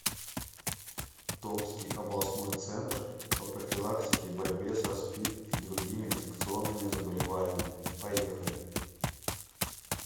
томский областной центр по профилактике и борьбе со спид и другими инфекционными заболеваниями поехали